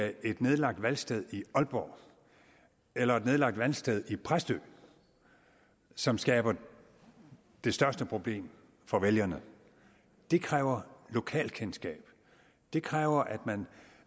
er et nedlagt valgsted i aalborg eller et nedlagt valgsted i præstø som skaber det største problem for vælgerne det kræver lokalkendskab det kræver at man